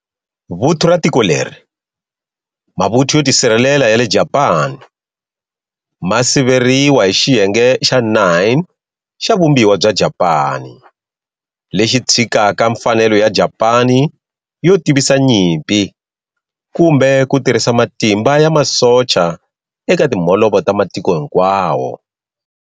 Vuthu ra tiko leri, Mavuthu yo Tisirhelela ya le Japani, ma siveriwa hi Xiyenge xa 9 xa Vumbiwa bya Japani, lexi tshikaka mfanelo ya Japani yo tivisa nyimpi kumbe ku tirhisa matimba ya masocha eka timholovo ta matiko hinkwawo.